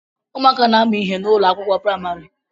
Ụmụaka na-amu ihe n'ụlọ akwụkwọ praịmarị